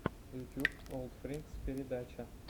ютьюб олдфринкс передача